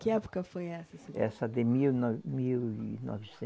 Que época foi essa, senhor? Essa de mil no, mil e